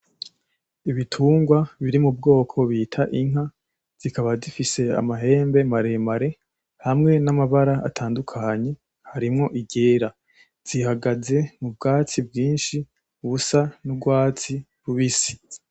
Ibitungwa biri mu bwoko bita inka zikaba zifise amahembe maremare hamwe n'amabara atandukanye harimwo iryera zihagaze mu bwatsi bwishi bisa n'urwatsi rubisi.